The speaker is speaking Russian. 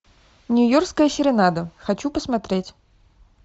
нью йоркская серенада хочу посмотреть